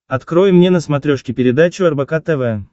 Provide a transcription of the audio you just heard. открой мне на смотрешке передачу рбк тв